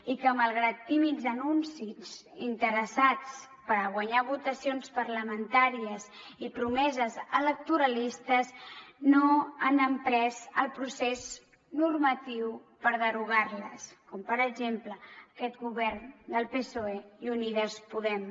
i que malgrat tímids anuncis interessats per guanyar votacions parlamentàries i promeses electoralistes no han emprès el procés normatiu per derogar les com per exemple aquest govern del psoe i unides podem